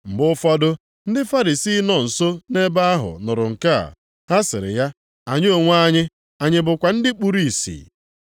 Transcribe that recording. Mgbe ụfọdụ ndị Farisii nọ nso nʼebe ahụ nụrụ nke a, ha sịrị ya, “Anyị onwe anyị, anyị bụkwa ndị kpuru ìsì?”